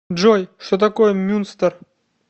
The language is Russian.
джой что такое мюнстер